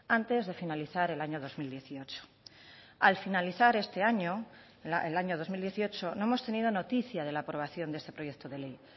antes de finalizar el año dos mil dieciocho al finalizar este año el año dos mil dieciocho no hemos tenido noticia de la aprobación de este proyecto de ley